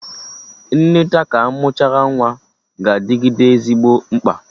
Nneta ka amụchara nwa ga-adịgide ezigbo mkpa